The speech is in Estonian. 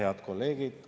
Head kolleegid!